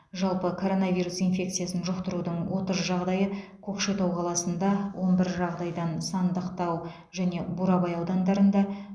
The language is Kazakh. жалпы коронавирус инфекциясын жұқтырудың отыз жағдайы көкшетау қаласында он бір жағдайдан сандықтау және бурабай аудандарында